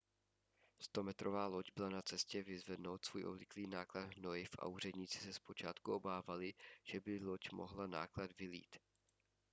100metrová loď byla na cestě vyzvednout svůj obvyklý náklad hnojiv a úředníci se zpočátku obávali že by loď mohla náklad vylít